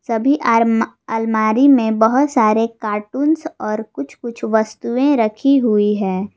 सभी आर्म अलमारी मे बहोत सारे कार्टून्स और कुछ कुछ वस्तुएं रखी हुई है।